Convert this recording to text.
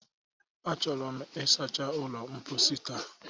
Achọrọ m ịsacha ụlọ mposi taa